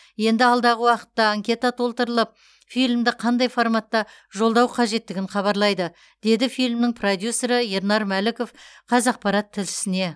енді алдағы уақытта анкета толтыртып фильмді қандай форматта жолдау қажеттігін хабарлайды деді фильмнің продюссері ернар мәліков қазақпарат тілшісіне